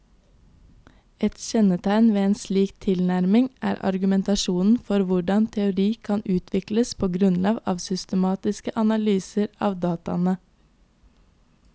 Et kjennetegn ved en slik tilnærming er argumentasjonen for hvordan teori kan utvikles på grunnlag av systematiske analyser av dataene.